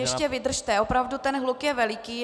Ještě vydržte, opravdu ten hluk je veliký.